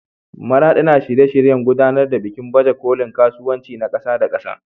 Maraɗi na shirye-shiryen gudanar da bikin baje kolin kasuwanci na ƙasa da ƙasa.